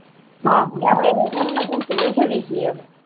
અહં અપડે એમની જન્મ જ્યંતી ઉજવી જોઈએ